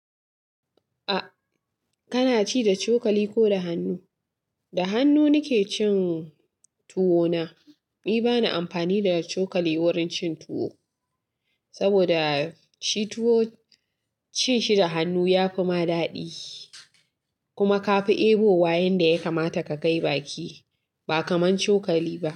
A, kana ci da cokali ko da hannu? Da hannu nike cin tuwo na. Ni bana amfani da cokali wurin cin tuwo, saboda shi tuwo cin shi da hannu yafi ma daɗi. Kuma ka fi ebo wa yanda ya kamata ka kai baki, ba kaman cokali ba.